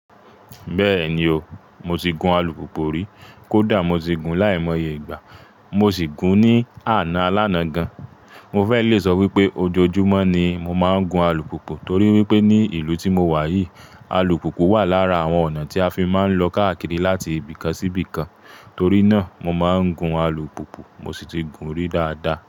Bẹ́ẹ̀ni o, mo ti gun alùpùpù rí. Kódà mo ti gun láìmọye ìgbà, mo sì gun ní àná alana gan. Mo fẹ́ le sọ wípé ojoojúmọ́ ni mo máa ń gun alùpùpù torí wípé ní ìlú tí mo wà yìí, alùpùpù wà lára àwọn ọ̀nà tí a fi máa ń lọ káàkiri láti ibìkan sí ibìkan. Torí náà mo máa ń gun alùpùpù mo sì ti gun rí dáadáa.